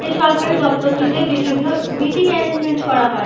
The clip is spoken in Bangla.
এই সরকারি দফতর টি তে বিভিন্ন মিটিং এরেঞ্জমেন্ট করা হয়।